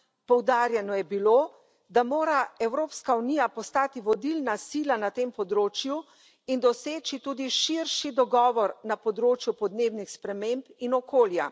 Poudarjeno je bilo, da mora Evropska unija postati vodilna sila na tem področju in doseči tudi širši dogovor na področju podnebnih sprememb in okolja.